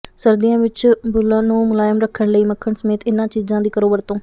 ਸਰਦੀਆਂ ਵਿਚ ਬੁੱਲ੍ਹਾਂ ਨੂੰ ਮੁਲਾਇਮ ਰੱਖਣ ਲਈ ਮੱਖਣ ਸਮੇਤ ਇਨ੍ਹਾਂ ਚੀਜ਼ਾਂ ਦੀ ਕਰੋ ਵਰਤੋਂ